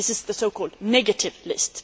this is the so called negative' list.